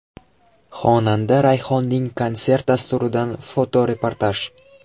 Xonanda Rayhonning konsert dasturidan fotoreportaj.